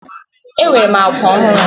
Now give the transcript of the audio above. Enwere m akwa ohuru.